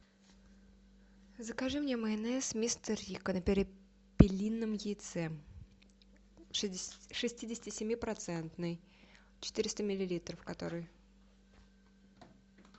закажи мне майонез мистер рико на перепелином яйце шестидесяти семи процентный четыреста миллилитров который